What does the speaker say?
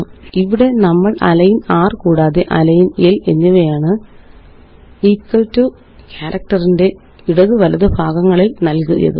ഇവിടെ നമ്മള് align r കൂടാതെ അലൈന് l എന്നിവയാണ്equal ടോ ക്യാരക്റ്ററിന്റെ ഇടത് വലത് ഭാഗങ്ങളില് നല്കിയത്